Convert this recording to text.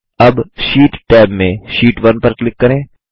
अब sheet tab में sheet 1 पर क्लिक करें